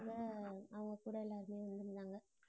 அவங்க கூட எல்லாருமே வந்திருந்தாங்க